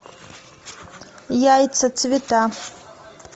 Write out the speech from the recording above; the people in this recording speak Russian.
яйца цвета